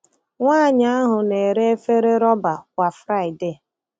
Nwanyị ahụ na-ere efere rọba kwa Friday.